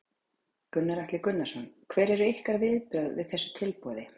Gunnar Atli Gunnarsson: Hver eru ykkar viðbrögð við þessu tilboði?